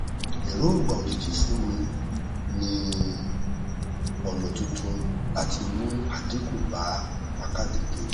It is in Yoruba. èròngba òjijì fún mi nin ọnà tuntun láti mú àdínkù bá pákáleke